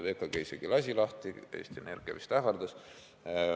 VKG isegi lasi lahti, Eesti Energia vist ainult ähvardas.